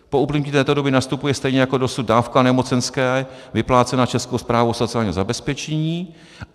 Po uplynutí této doby nastupuje stejně jako dosud dávka nemocenské vyplácená Českou správou sociálního zabezpečení.